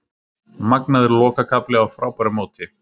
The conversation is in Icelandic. Magnaður lokakafli á frábæru móti